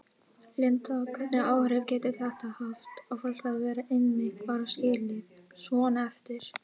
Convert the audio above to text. Linda: Hvernig áhrif getur þetta haft á fólk að vera einmitt bara skilið svona eftir?